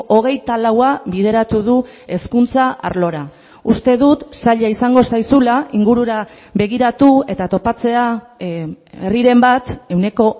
hogeita laua bideratu du hezkuntza arlora uste dut zaila izango zaizula ingurura begiratu eta topatzea herriren bat ehuneko